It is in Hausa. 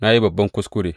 Na yi babban kuskure.